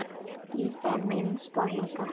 Í það minnsta hingað til.